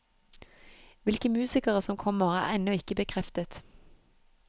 Hvilke musikere som kommer, er ennå ikke bekreftet.